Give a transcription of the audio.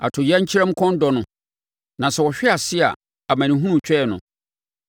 Atoyerɛnkyɛm kɔn dɔ no; na sɛ ɔhwe ase a, amanehunu retwɛn no.